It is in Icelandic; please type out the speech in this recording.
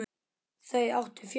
Þau áttu fjölda barna.